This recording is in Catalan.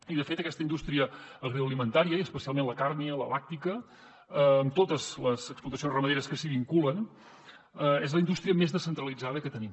i de fet aquesta indústria agroalimentària i especialment la càrnia la làctia amb totes les explotacions ramaderes que s’hi vinculen és la indústria més descentralitzada que tenim